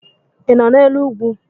ị nọ n'elu ugwu?